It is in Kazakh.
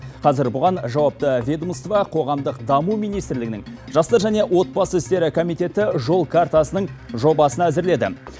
қазір бұған жауапты ведомство қоғамдық даму министрлігінің жастар және отбасы істері комитеті жол картасының жобасын әзірледі